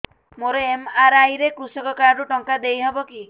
ମୋର ଏମ.ଆର.ଆଇ ରେ କୃଷକ କାର୍ଡ ରୁ ଟଙ୍କା ଦେଇ ହବ କି